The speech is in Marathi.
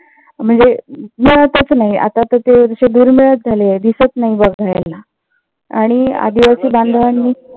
म्हणजे तस नाही आता तसे झाले आहेत दिसत नाही आणि आदिवासी बांधवांनी